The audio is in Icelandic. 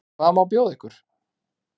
Hvað má bjóða ykkur?